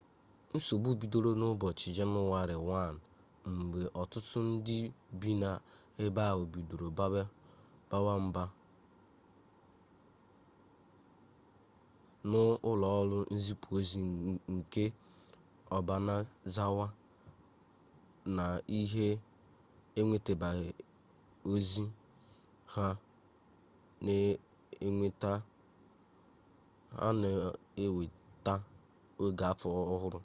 nsogbu bidoro n'ụbọchị jenụwarị 1 mgbe ọtụtụ ndị bi n'ebe ahụ bidoro bawa mba n'ụlọọrụ nzipụ ozi nke obanazawa na ha enwetabeghi ozi ha na-enwetawa oge afọ ọhụrụ